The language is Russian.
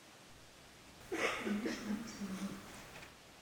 илюши алексеева